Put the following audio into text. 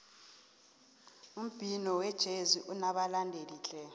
umbhino wejezi unabalandeli tle